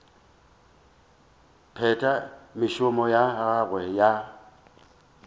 phetha mešomo ya gagwe ya